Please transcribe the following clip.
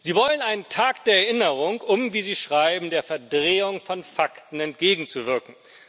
Sie wollen einen Tag der Erinnerung, um wie Sie schreiben der Verdrehung von Fakten entgegenzuwirken.